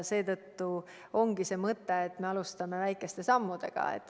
Seetõttu ongi mõte, et me alustame väikeste sammudega.